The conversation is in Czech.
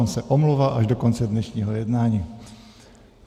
On se omlouvá až do konce dnešního jednání.